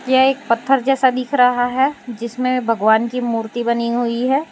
यह एक पत्थर जैसा दिख रहा है जिसमें भगवान की मूर्ति बनी हुई है।